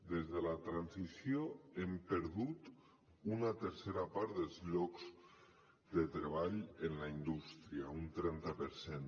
des de la transició hem perdut una tercera part dels llocs de treball en la indústria un trenta per cent